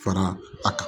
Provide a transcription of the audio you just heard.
Fara a kan